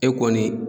E kɔni